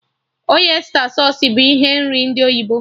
Ọysta sausụ bụ ihe nri ndị oyibo